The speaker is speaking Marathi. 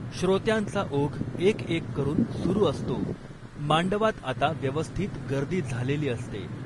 श्रोत्यांचा ओघ एकएक करून सुरू असतो, मांडवात आता व्यवस्थीत गर्दी झालेली असते.